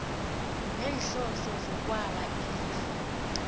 neenhloso zokwaba ilifa